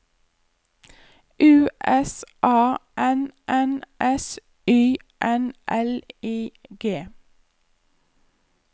U S A N N S Y N L I G